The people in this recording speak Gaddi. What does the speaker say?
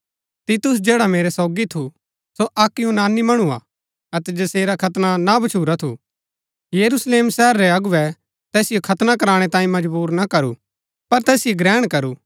तीतुस जैडा मेरै सोगी थू सो अक्क यूनानी मणु हा अतै जसेरा खतना ना भच्छुरा थू यरूशलेम शहर रै अगुवै तैसिओ खतना कराणै तांयें मजबुर ना करू पर तैसिओ ग्रहण करू